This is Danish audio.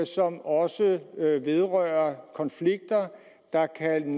som også vedrører konflikter der kan